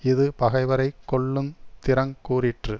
இது பகைவரை கொல்லுந் திறங் கூறிற்று